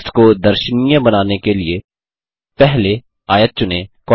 text को दर्शनीय बनाने के लिए पहले आयत चुनें